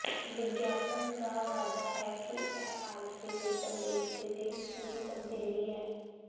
ਵਿਗਿਆਪਨ ਦਾ ਵਾਅਦਾ ਹੈ ਕਿ ਇਹ ਆਲਸੀ ਲਈ ਤੰਦਰੁਸਤੀ ਦੀ ਪੂਰੀ ਤਬਦੀਲੀ ਹੈ